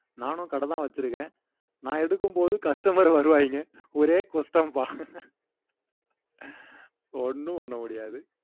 நானும் கடைதான் வச்சிருக்கிறேன் நான் எடுக்கும்போது customer வருவாய்ங்க ஒரே குஷ்டம்பா ஒன்னும் பண்ண முடியாது